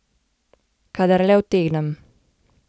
Kadar le utegnem.